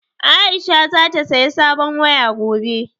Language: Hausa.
Aisha za ta saya sabon waya gobe